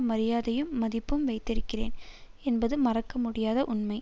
மரியாதையும் மதிப்பும் வைத்திருக்கிறேன் என்பது மறக்க முடியாத உண்மை